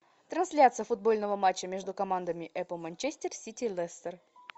трансляция футбольного матча между командами апл манчестер сити лестер